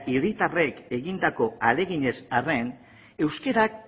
herritarrek egindako ahaleginez arren euskara